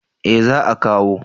eh za a kawo